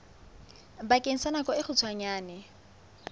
bakeng sa nako e kgutshwane